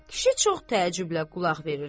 Kişi çox təəccüblə qulaq verirdi.